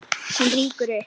Hún rýkur upp.